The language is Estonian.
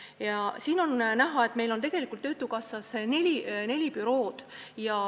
Siit slaidilt on näha, et meil on neli töötukassa bürood.